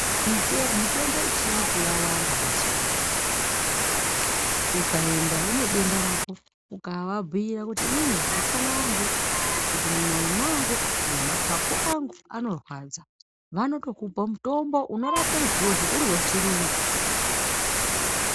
Mite mutombo yechiyungu yawanda mazuwa ukaenda unedenda rako ukavabhira kuti inini mushana wangu kana kuti mumoyo mwangu kana mapapu angu anorwadza vanotokupa mutombo unorape izvozvo uri wechiyungu.